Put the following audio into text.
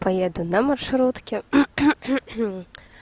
поеду на маршрутке